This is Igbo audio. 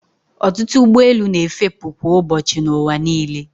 Ọtụtụ ụgbọelu na-efepụ kwa ụbọchị n'ụwa niile.